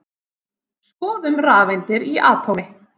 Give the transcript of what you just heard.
Skoðum rafeindir í atómi.